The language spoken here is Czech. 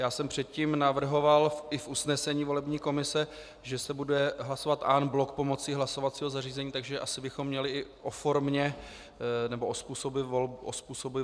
Já jsem předtím navrhoval i v usnesení volební komise, že se bude hlasovat en bloc pomocí hlasovacího zařízení, takže asi bychom měli i o formě nebo o způsobu volby hlasovat.